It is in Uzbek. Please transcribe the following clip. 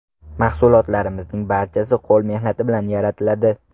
Mahsulotlarimizning barchasi qo‘l mehnati bilan yaratiladi.